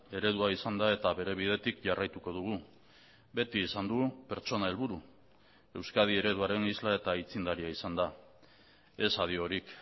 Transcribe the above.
eredua izan da eta bere bidetik jarraituko dugu beti izan du pertsona helburu euskadi ereduaren isla eta aitzindaria izanda ez adiorik